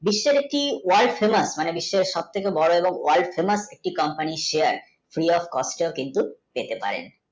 বিশ্বের একটি world famous বিশ্বের সবথেকে বড় এবং world famous একটি company set তো কিন্তূ পেতে পারেন